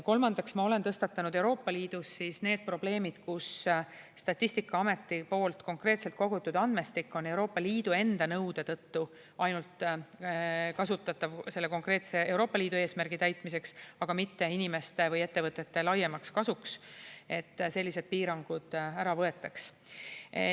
Kolmandaks, ma olen tõstatanud Euroopa Liidus need probleemid, kus Statistikaameti poolt konkreetselt kogutud andmestik on Euroopa Liidu enda nõude tõttu kasutatav ainult selle konkreetse Euroopa Liidu eesmärgi täitmiseks, aga mitte inimeste või ettevõtete laiemaks kasuks, et sellised piirangud ära võetaks.